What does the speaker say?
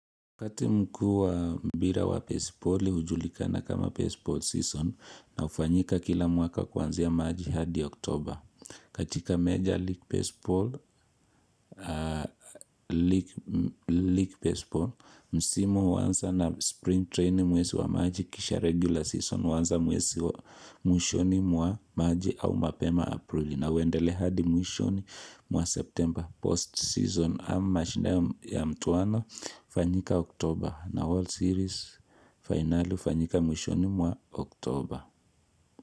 Wakati mkuu mpira wa baseballi hujulikana kama baseball season na hufanyika kila mwaka kwanzia machi hadi oktober. Katika major league baseball, msimu huanza na spring training mwezi wa machi kisha regular season huanza mwezi wa mwishoni wa machi au mapema aprili. Na huendele hadi mwishoni mwa September post season ama shina ya mtuwano hufanyika Oktober na World Series final fanyika mwishoni mwa Oktober.